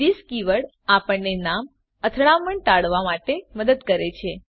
this keyword આપણને નામ અથડામણ ટાળવા માટે મદદ કરે છે